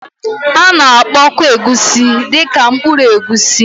A na-akpọkwa Egusi dị ka mkpụrụ egusi